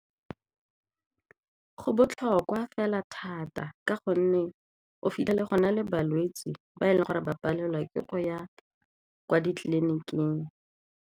Go botlhokwa fela thata ka gonne o fitlhele go na le balwetse ba e leng gore ba palelwa ke go ya kwa ditleliniking.